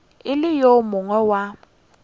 e le yo mongwe wa